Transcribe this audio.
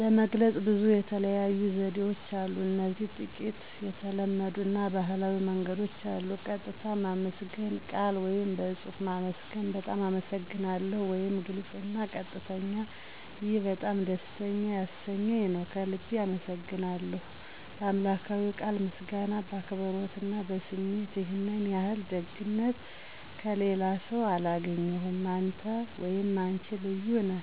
ለመግለጽ ብዙ የተለያዩ ዘዴዎችን አሉ እዚህ ጥቂት የተለመዱ አና ባህላዊ መንገዶች አሉ። ቀጥታ ማመስገን (በቃል ወይም በጽሑፍ ማመስገን ) "በጣም አመሰግናለሁ "(ግልጽ አና ቀጥተኛ ) "ይህ በጣም ደስ ያሰኘኝ ነው። ከልቤ አመሰግናለሁ ;" "በአምላክዊ ቃል ምስጋና በአክብሮት አና በስሜት"ይህን ያህል ደግነት ከሌላስው አላገኘሁም። አንተ /አነች ልዩ ነህ